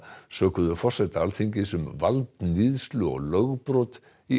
sökuðu forseta Alþingis um valdníðslu og lögbrot í